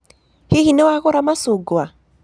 Hihi nĩ wagũra macungwa?